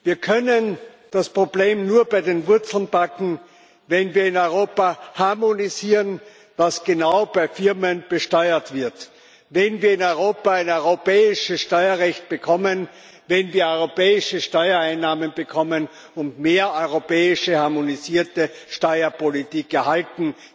Wir können das Problem nur bei den Wurzeln packen, wenn wir in Europa harmonisieren, was genau bei Firmen besteuert wird, wenn wir in Europa ein europäisches Steuerrecht bekommen, wenn wir europäische Steuereinnahmen bekommen und mehr europäische harmonisierte Steuerpolitik erhalten.